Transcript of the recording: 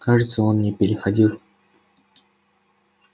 кажется он не переходил